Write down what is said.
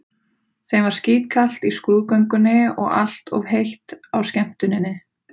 Þeim var skítkalt í skrúðgöngunni og allt of heitt á skemmtuninni.